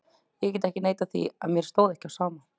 Ég get ekki neitað því að mér stóð ekki á sama.